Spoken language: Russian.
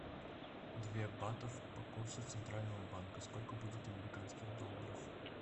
две батов по курсу центрального банка сколько будет американских долларов